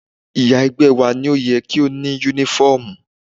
Ìyá ẹgbẹ́ wá ní ó yẹ kí a ní Únífọ́ọ̀mù